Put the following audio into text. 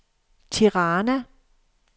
Tirana